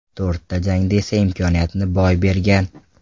To‘rtta jangda esa imkoniyatni boy bergan.